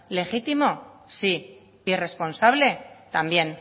legítimo sí irresponsable también